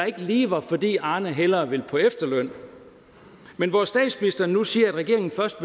ikke lige var fordi arne hellere ville på efterløn men hvor statsministeren nu siger at regeringen først